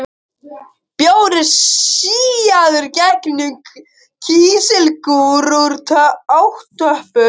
Bjór er síaður gegnum kísilgúr fyrir átöppun.